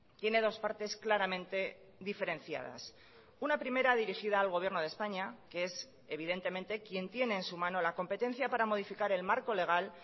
tiene dos partes claramente diferenciadas una primera dirigida al gobierno de españa que es evidentemente quien tiene en su mano la competencia para modificar el marco legal